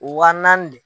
Wa naani de